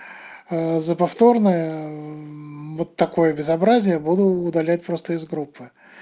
за повторное вот такое безобразие буду удалять просто из группы